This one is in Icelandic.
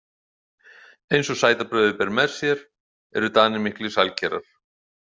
Eins og sætabrauðið ber með sér eru Danir miklir sælkerar.